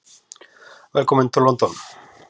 Velkominn til London.